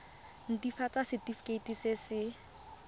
nt hafatsa setefikeiti se se